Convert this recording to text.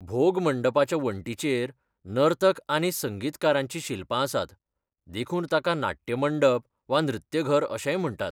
भोग मांडपाच्या वण्टींचेर नर्तक आनी संगीतकारांचीं शिल्पां आसात, देखून ताका नाट्य मंडप वा नृत्यघर अशेंय म्हणटात.